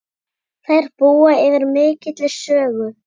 Þær búa yfir mikilli sögu.